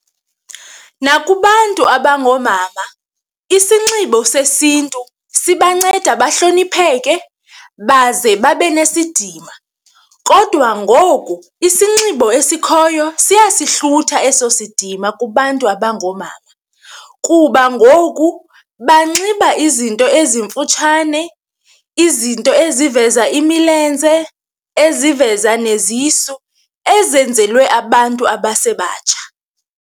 Nakubantu abangoomama isinxibo sesiNtu sibanceda bahlonipheke baze babe nesidima kodwa ngoku isinxibo esikhoyo siyasihlutha eso sidima kubantu abangoomama, kuba ngoku banxiba izinto ezimfutshane, izinto eziveza imilenze, eziveza nezisu, ezenzelwe abantu abasebatsha.